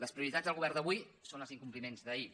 les prioritats del govern d’avui són els incompliments d’ahir